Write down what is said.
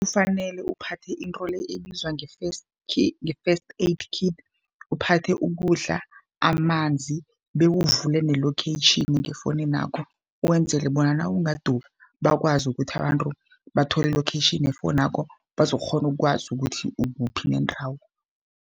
Kufanele uphathe into le ebizwa nge-first nge-first aid kit, uphathe ukudla, amanzi, bewuvule ne-location efowuninakho, wenzele bona nawungadurha bakwazi ukuthi abantu bathole i-location yefowunakho, bazokukghona ukwazi ukuthi ukuphi nendawo.